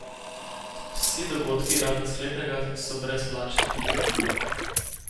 Vsi dogodki razen sklepnega so brezplačni.